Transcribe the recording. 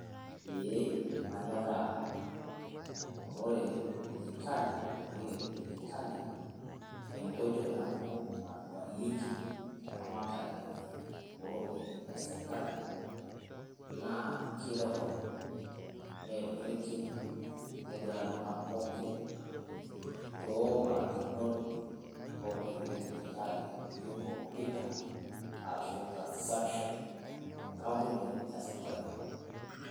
Eeh kaanyoraa, amu ore dijitali enkoitei edijitali enkoitoi nabo naaduareki eramatare o ropiani esirkali, naa kerekod neerorike needua iltung'anak pookin toobarakinot onkoitoi edijitali nijoo kompuyta arashuu transaction te kampunii e safarikom.